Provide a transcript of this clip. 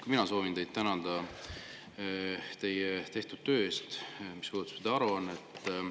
Ka mina soovin teid tänada teie tehtud töö eest, mis puudutab seda aruannet.